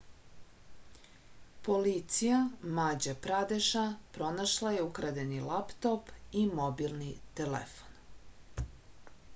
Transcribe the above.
policija mađa pradeša pronašla je ukradeni laptop i mobilni telefon